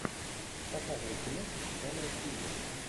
показывай киношку жанра триллер